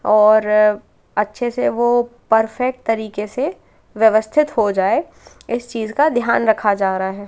और अच्छे से वो परफेक्ट तरीके से व्यवस्थित हो जाए इस चीज का ध्यान रखा जा रहा है।